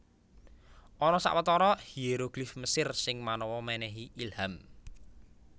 Ana sawetara hieroglif Mesir sing manawa mènèhi ilham